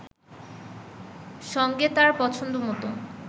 সঙ্গে তার পছন্দমতো